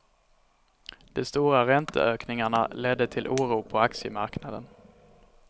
De stora ränteökningarna ledde till oro på aktiemarknaden.